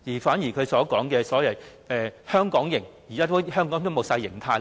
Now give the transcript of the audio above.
反而他所謂的"香港營"，現時在香港已經是全無形態可言。